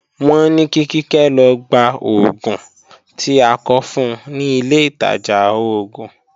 Wọ́n ní kí Kíkẹ́ lọ gba oògùn tí a kọ fun ni ilé ìtajà oògùn